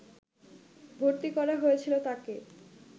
ভর্তি করা হয়েছিল তাকে